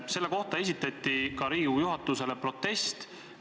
Selle kohta esitati Riigikogu juhatusele protest.